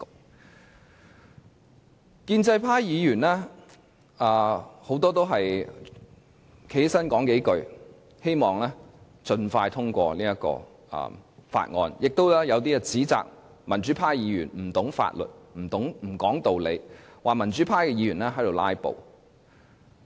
很多建制派議員站起來發言也只是說三數句，希望盡快通過《條例草案》，他們也有一些指責民主派議員不懂法律、不說道理，說民主派議員"拉布"。